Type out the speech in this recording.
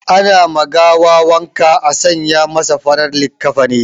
Ana ma gawa wanka a sanya masa farar likafani